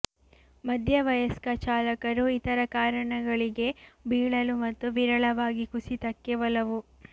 ಮಧ್ಯವಯಸ್ಕ ಚಾಲಕರು ಇತರ ಕಾರಣಗಳಿಗೆ ಬೀಳಲು ಮತ್ತು ವಿರಳವಾಗಿ ಕುಸಿತಕ್ಕೆ ಒಲವು